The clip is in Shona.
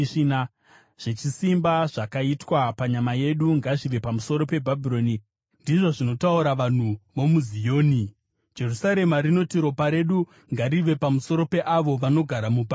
Zvechisimba zvakaitwa panyama yedu ngazvive pamusoro peBhabhironi,” ndizvo zvinotaura vanhu vomuZioni. Jerusarema rinoti: “Ropa redu ngarive pamusoro peavo vanogara muBhabhironi.”